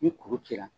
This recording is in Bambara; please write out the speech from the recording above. Ni kuru cira